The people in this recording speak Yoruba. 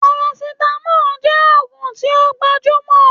Paracetamol jẹ́ ògùn tí ó gbajúmọ̀